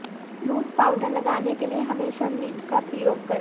loose powder लगाने के लिए हमेशा लिड का प्रयोग करें